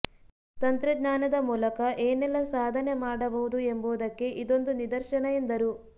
ತಂತ್ರಜ್ಞಾನದ ಮೂಲಕ ಏನೆಲ್ಲ ಸಾಧನೆ ಮಾಡಬಹುದು ಎಂಬುದಕ್ಕೆ ಇದೊಂದು ನಿದರ್ಶನ ಎಂದರು